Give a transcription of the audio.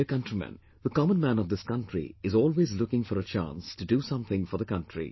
My dear countrymen, the common man of this country is always looking for a chance to do something for the country